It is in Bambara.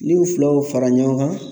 N'i y'u filaw fara ɲɔɔn kan